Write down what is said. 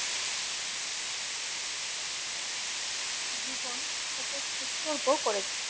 জীবন উপোস উৎসর্গ করেছেন